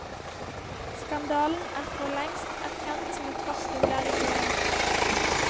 Skandalen er forlengst erkjent som et faktum der i gården.